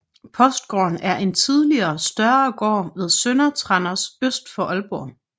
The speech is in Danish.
Postgården er en tidligere større gård ved Sønder Tranders øst for Aalborg